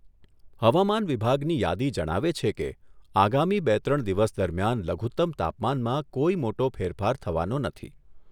હવામાન વિભાગની યાદી જણાવે છે કે, આગામી બે ત્રણ દિવસ દરમિયાન લઘુત્તમ તાપમાનમાં કોઈ મોટો ફેરફાર થવાનો નથી.